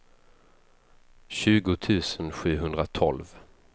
tjugo tusen sjuhundratolv